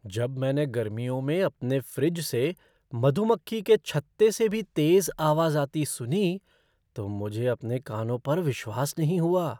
जब मैंने गर्मियों में अपने फ़्रिज से मधुमक्खी के छत्ते से भी तेज़ आवाज आती सुनी तो मुझे अपने कानों पर विश्वास नहीं हुआ!